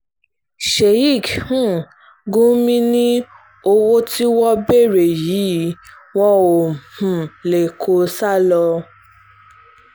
sheik um gumi ni owó tí wọ́n ń béèrè yìí wọn ò um lè kó o sá lọ